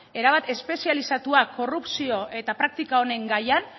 erabat espezializatua korrupzio eta praktika onen gaian